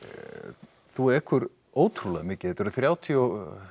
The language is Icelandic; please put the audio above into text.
þú ekur ótrúlega mikið þetta eru þrjátíu og